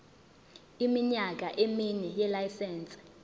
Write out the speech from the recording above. iminyaka emine yelayisense